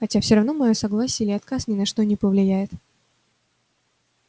хотя всё равно моё согласие или отказ ни на что не повлияет